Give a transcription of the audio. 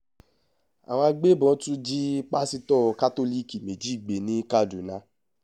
àwọn agbébọn tún jí pásítọ̀ kátólíìkì méjì gbé ní kaduna